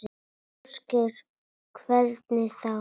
Ásgeir: Hvernig þá?